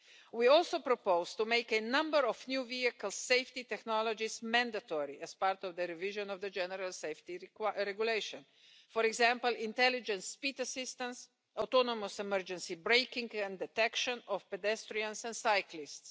We also propose to make a number of new vehicle safety technologies mandatory as part of the revision of the general safety regulation, for example, intelligence speed assistance, autonomous emergency braking and detection of pedestrians and cyclists.